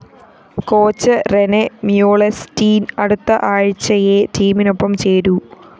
coach Rene Meulensteen‍ അടുത്ത ആഴ്ചയേ ടീമിനൊപ്പം ചേരൂ